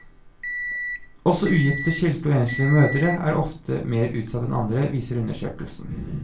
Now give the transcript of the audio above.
Også ugifte, skilte og enslige mødre er oftere mer utsatt enn andre, viser undersøkelsen.